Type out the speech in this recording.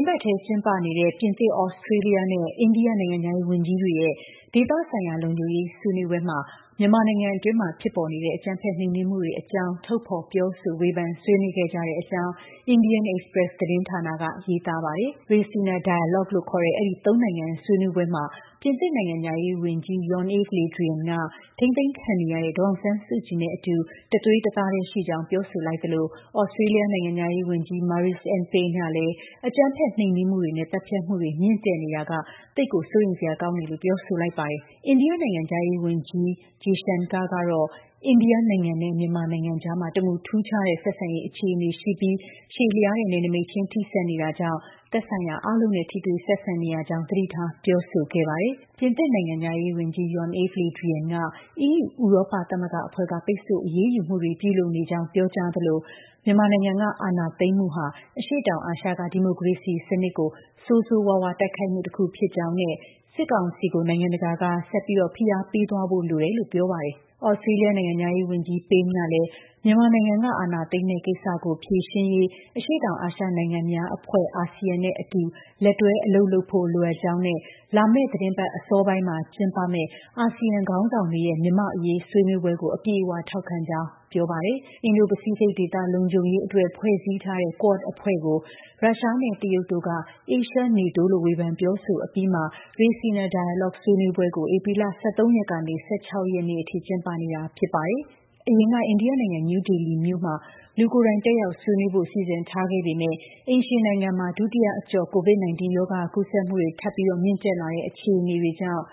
်းပတ်ထဲ ကျင်းပနေတဲ့ ပြင်သစ်၊ ဩစတြေးလျနဲ့ အိန္ဒိယ နိုင်ငံခြားရေး ဝန်ကြီးတွေရဲ့ ဒေသဆိုင်ရာ လုံခြုံရေး ဆွေးနွေးပွဲမှာ မြန်မာနိုင်ငံအတွင်းမှာ ဖြစ်ပေါ် နေတဲ့ အကြမ်းဖက် နှိမ်နင်းမှုတွေအကြောင်း ထုတ်ဖော် ပြောဆိုဝေဖန်ဆွေးနွေးခဲ့ကြတဲ့အကြောင်း IndiaExpress သတင်းဌာနက ရေးထားပါတယ်။ Raisina Dialogue လို့ခေါ်တဲ့ အဲဒီ ၃ နိုင်ငံဆွေးနွေးပွဲမှာ ပြင်သစ်နိုင်ငံခြားရေးဝန်ကြီး Jean-Yves Le Drian က ထိန်းသိမ်းခံနေရတဲ့ ဒေါ်အောင်ဆန်းစုကြည်နဲ့အတူ တသွေးတသားတည်းရှိကြောင်း ပြောဆိုလိုက်သလို ဩစတြေးလျနိုင်ငံခြားရေးဝန်ကြီး Marise Ann Payne ကလည်း အကြမ်းဖက် နှိမ်နင်းမှုတွေနဲ့ သတ်ဖြတ်မှုတွေ မြင့်တက်နေတာက သိပ်ကို စိုးရိမ်စရာပါလို့ ပြောဆိုလိုက်ပါတယ်။ အိန္ဒိယ နိုင်ငံခြားရေးဝန်ကြီး S. Jaishankar ကတော့ အိန္ဒိယနိုင်ငံနဲ့ မြန်မာနိုင်ငံကြား တမူထူးခြားတဲ့ဆက်ဆံရေး အခြေအနေရှိနေပြီး ရှည်လျားတဲ့ နယ်နိမိတ်ချင်း ထိစပ်နေတာကြောင့် သက်ဆိုင်ရာအားလုံးနဲ့ ထိတွေ့ဆက်ဆံနေရကြောင်း သတိထား ပြောဆိုခဲ့ပါတယ်။ ပြင်သစ်နိုင်ငံခြားရေးဝန်ကြီး Jean-Yves Le Drian က EU ဥရောပသမဂ္ဂအဖွဲ့က ပိတ်ဆို့ အရေးယူမှုတွေ ပြုလုပ်နေကြောင်း ပြောကြားသလို မြန်မာနိုင်ငံက အာဏာသိမ်းမှုဟာ အရှေ့တောင်အာရှက ဒီမိုကရေစီစနစ်ကို ဆိုးဆိုးရွားရွား တိုက်ခိုက်မှုတစ်ခုဖြစ်ကြောင်းနဲ့ စစ်ကောင်စီကို နိုင်ငံတကာက ဆက်လက်ဖိအားပေးသွားဖို့ လိုအပ်ကြောင်း ပြောပါတယ်။ ဩစတြေးလျနိုင်ငံခြားရေးဝန်ကြီး Payne ကလည်း မြန်မာနိုင်ငံက အာဏာသိမ်းတဲ့ကိစ္စကို ဖြေရှင်းရေး အရှေ့တောင်အာရှနိုင်ငံများအဖွဲ့ (အာဆီယံအဖွဲ့) နဲ့အတူ လက်တွဲအလုပ်လုပ်ဖို့ လိုအပ်ကြောင်းနဲ့ လာမယ့် သီတင်းပတ်အစောပိုင်းမှာ ကျင်းပမယ့် အာဆီယံ ခေါင်းဆောင်တွေရဲ့ မြန်မာ့အရေး ဆွေးနွေးပွဲကို အပြည့်အဝ ထောက်ခံကြောင်း ပြောပါတယ်။ အင်ဒို-ပစိဖိတ်ဒေသ လုံခြုံရေးအတွက် ဖွဲ့စည်းထားတဲ့ Quad အဖွဲ့ကို ရုရှားနဲ့ တရုတ်တို့က Asia NATO လို့ ဝေဖန် ပြောဆိုအပြီးမှာ Raisina Dialogue ဆွေးနွေးပွဲကို ဧပြီလ ၁၃ ရက်နေ့က ၁၆ ရက်နေ့အထိ ကျင်းပနေတာ ဖြစ်ပါတယ်။ အရင်က အိန္ဒိယနိုင်ငံ၊ နယူးဒေလီမြို့မှာ လူကိုယ်တိုင် တက်ရောက် ဆွေးနွေးဖို့ စီစဉ်ထားခဲ့ပေမဲ့ အိမ်ရှင်နိုင်ငံမှာ ဒုတိယအကျော့ COVID-19 ရောဂါကူးစက်မှု ထပ်မံမြင့်တက်လာနေတဲ့ အခြေအနေကြောင့်